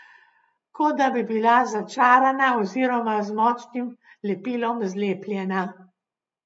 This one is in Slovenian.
Kot da bi bila začarana oziroma z močnim lepilom zlepljena.